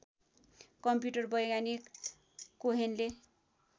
computer वैज्ञानिक कोहेनले